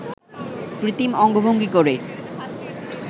কৃত্রিম অঙ্গভঙ্গি করে